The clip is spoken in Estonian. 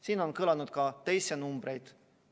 Siin on kõlanud ka teisi numbreid.